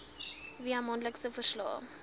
via maandelikse verslae